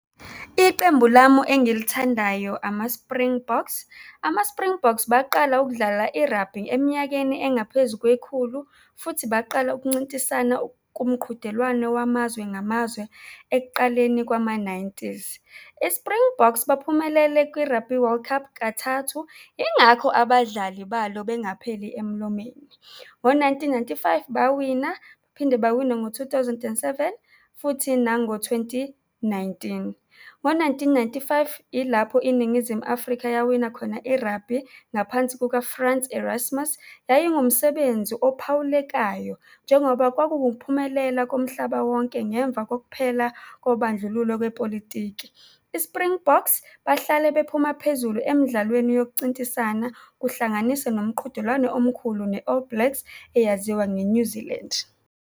Iqembu lamu engilithandayo, ama-Springboks. Ama-Springboks baqala ukudlala i-rugby eminyakeni engaphezu kwekhulu futhi baqala ukuncintisana kumqhudelwano wamazwe ngamazwe ekuqaleni kwama-nineties. I-Springboks baphumelele kwi-Rugby World Cup kathathu, yingakho abadlali balo bengapheli emlomeni. Ngo-nineteen ninety-five, bawina, baphinde bawina ngo-two thousand and seven, futhi nango-twenty nineteen. Ngo-nineteen ninety-five, yilapho iNingizimu Afrika yawina khona i-Rugby, ngaphansi kuka-Frans Erasmus. Yayingumsebenzi ophawulekayo njengoba kwakuwukuphumelela komhlaba wonke ngemva kokuphela kobandlululo lwepolitiki. I-Springboks bahlale bephuma phezulu emdlalweni yokucintisana kuhlanganise nomqhudelwano omkhulu ne-All Blacks, eyaziwa nge-New Zealand.